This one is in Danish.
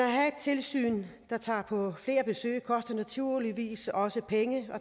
tilsyn der tager på flere besøg koster naturligvis også penge og